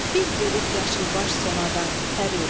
Bir bölük yaşılbaş sonadan pəri.